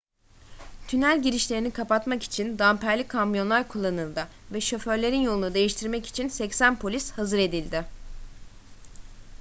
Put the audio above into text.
tünel girişlerini kapatmak için damperli kamyonlar kullanıldı ve şoförlerin yolunu değiştirmek için 80 polis hazır edildi